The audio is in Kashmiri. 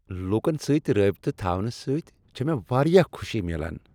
لوکن سۭتۍ رابطہ تھاونہ سۭتۍ چھ مےٚ واریاہ خوشی میلان۔